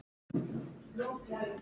Hvað var það?